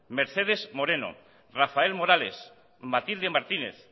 mercedes moreno rafael morales matilde martínez